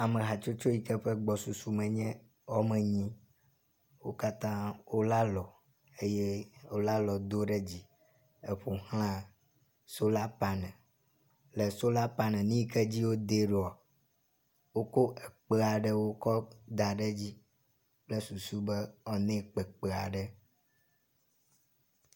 Ame hatsotso yi ke ƒe gbɔsusu nye wome enyi wo katã wolé alɔ eye wolé alɔ do ɖe dzi eƒo xlã sola paneli, le sola paneli nyi ke dzi wodea ɖoa, wokɔ kpe aɖewo kɔ da ɖe edzi kple susu be woanɛ kpekpe aɖe.